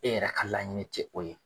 E yɛrɛ ka laɲini tɛ o ye